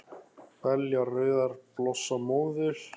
Belja rauðar blossa móður